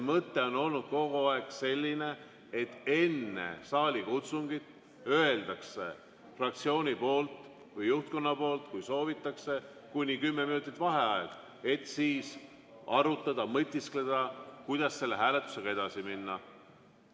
Mõte on olnud kogu aeg selline, et enne saalikutsungit öeldakse fraktsiooni või juhtkonna poolt, kui soovitakse kuni kümme minutit vaheaega, et siis arutada, mõtiskleda, kuidas selle hääletusega edasi minna.